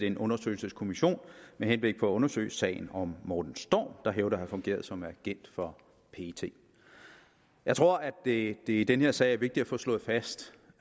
en undersøgelseskommission med henblik på at undersøge sagen om morten storm der hævder at have fungeret som agent for pet jeg tror at det at det i den her sag er vigtigt at få slået fast